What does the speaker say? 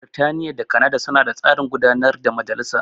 Birtaniya da Kanada suna da tsarin gudarwar majalisa.